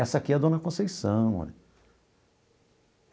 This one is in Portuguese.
Essa aqui é a dona Conceição, olha.